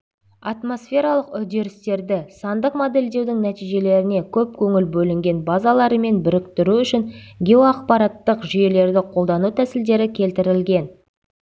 атмосфералық үдерістерді сандық модельдеудің нәтижелеріне көп көңіл бөлінген базаларымен біріктіру үшін геоақпараттық жүйелерді қолдану тәсілдері келтірілген